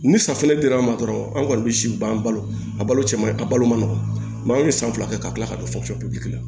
Ni san fɛnɛ dir'an ma dɔrɔn an kɔni be si ban balo a balo cɛ ma a balo ma nɔgɔ anw ye san fila kɛ ka kila ka don fo fiye bilen